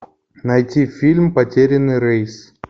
найти фильм потерянный рейс